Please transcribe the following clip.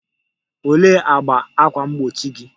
Olee agba ákwà mgbochi gị?